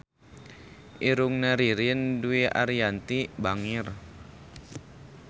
Irungna Ririn Dwi Ariyanti bangir